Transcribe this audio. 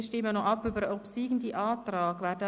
Wir stimmen noch über den obsiegenden Antrag ab.